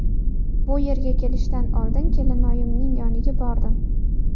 Bu yerga kelishdan oldin kelinoyimning yoniga bordim.